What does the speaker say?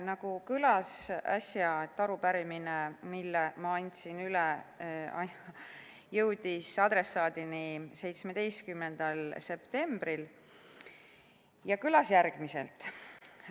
Nagu äsja kõlas, jõudis arupärimine, mille ma üle andsin, adressaadini 17. septembril ja kõlas järgmiselt.